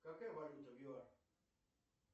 какая валюта в юар